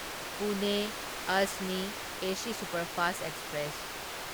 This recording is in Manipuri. ꯄꯨꯅꯦ ꯑꯖꯅꯤ ꯑꯦꯁꯤ ꯁꯨꯄꯔꯐꯥꯁꯠ ꯑꯦꯛꯁꯄ꯭ꯔꯦꯁ